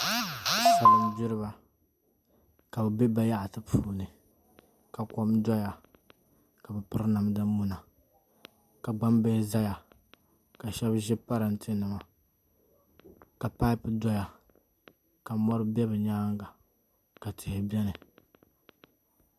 Salin gbiriba ka bi bɛ bayaɣati puuni ka kom doya ka bi piri namda muna ka gbambihi ʒɛya ka shab ʒi parantɛ nima ka paip doya ka mori bɛ bi nyaanga ka tihi biɛni